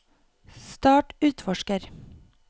start utforsker